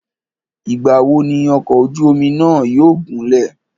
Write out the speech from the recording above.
Ìgbà wo ni ọ̀kọ̀ ojú omi náà yóò gúnlẹ̀?